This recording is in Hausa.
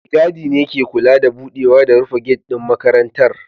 Mai gadi ne ke kula da budewa da rufe gate din makarantar